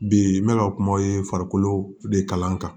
Bi n bɛ ka kuma farikolo de kalan kan